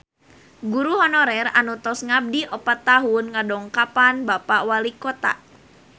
Guru honorer anu tos ngabdi opat tahun ngadongkapan Bapak Walikota